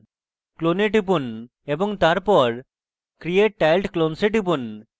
clone এ টিপুন এবং তারপর create tiled clones এ টিপুন